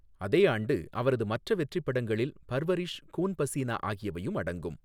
அதே ஆண்டு அவரது மற்ற வெற்றிப் படங்களில் பர்வரிஷ், கூன் பசினா ஆகியவையும் அடங்கும்.